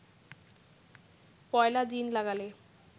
পয়লা জিন লাগালে